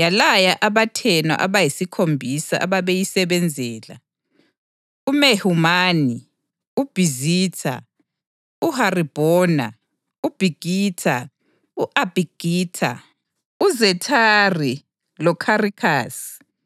yalaya abathenwa abayisikhombisa ababeyisebenzela, uMehumani, uBhizitha, uHaribhona, uBhigitha, u-Abhagitha, uZethari loKharikhasi,